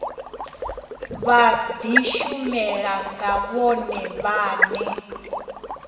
vha dishumele nga vhone vhane